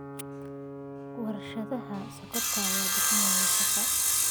Warshada Sonkorta ayaa bixisa shaqo.